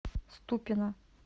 ступино